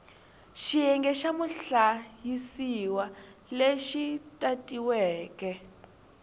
xiyenge xa muhlayisiwa lexi tatiweke